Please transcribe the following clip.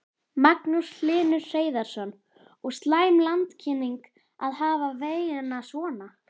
Magnús Hlynur Hreiðarsson: Og slæm landkynning að hafa vegina svona?